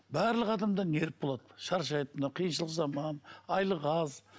барлық адамда нерв болады шаршайды мына қиыншылық заман айлық аз